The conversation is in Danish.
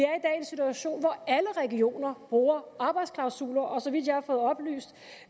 situation hvor alle regioner bruger arbejdsklausuler og så vidt jeg har fået oplyst